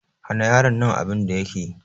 Hana yaron nan abin da yake!